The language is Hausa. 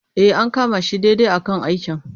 E, an kama shi daidai a kan aikin.